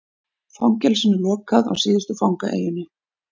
Fangelsinu lokað á síðustu fangaeyjunni